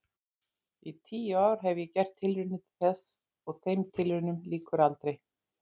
Í tíu ár hef ég gert tilraunir til þess og þeim tilraunum lýkur aldrei.